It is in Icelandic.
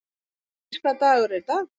Brimdís, hvaða dagur er í dag?